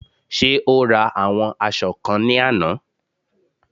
Ṣé o ra àwọn aṣọ kan ní àná?